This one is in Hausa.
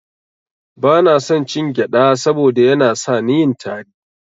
Bana son cin gyada saboda Yana sani yin tari.